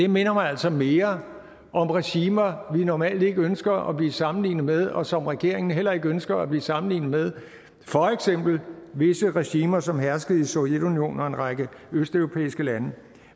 minder mig altså mere om regimer vi normalt ikke ønsker at blive sammenlignet med og som regeringen heller ikke ønsker at blive sammenlignet med for eksempel visse regimer som herskede i sovjetunionen og en række østeuropæiske lande